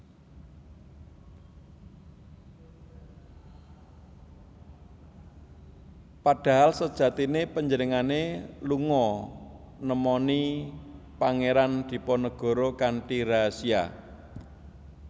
Padahal sejatiné panjenengané lunga nemoni Pangeran Diponegoro kanthi rahasia